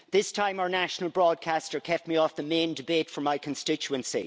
This time, our national broadcaster kept me off the main debate for my constituency.